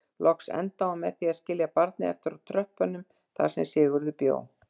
Loks endaði hún með því að skilja barnið eftir á tröppunum þar sem Sigurður bjó.